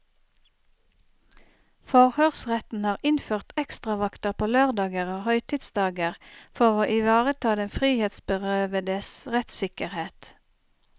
Forhørsretten har innført ekstravakter på lørdager og høytidsdager for å ivareta den frihetsberøvedes rettssikkerhet.